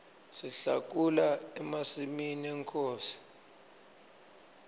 sihlakula emasimi enkhosi